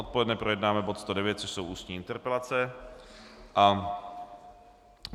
Odpoledne projednáme bod 109, což jsou ústní interpelace.